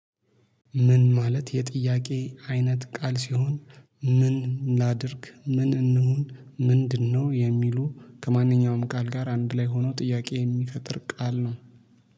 ምን ማለት የጥያቄ አይነት ቃል ሲሆን ምን ላድርግ ምን እንሁን? ምንድነው የሚሉ ከማንኛውም ቃል ጋር አንድ ላይ ሆኖ ጥያቄ የሚፈጥር ቃል ነው